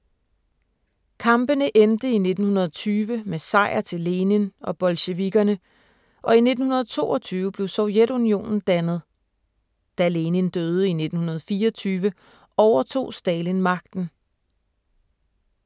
Kampene endte i 1920 med sejr til Lenin og bolsjevikkerne, og i 1922 blev Sovjetunionen dannet. Da Lenin døde i 1924, overtog Stalin magten.